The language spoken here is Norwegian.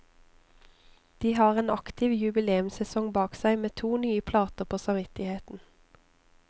De har en aktiv jubileumssesong bak seg, med to nye plater på samvittigheten.